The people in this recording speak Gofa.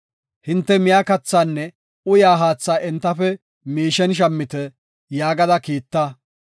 Hinte miya kathaanne uyaa haatha entafe miishen shammite’ ” yaagada kiitta.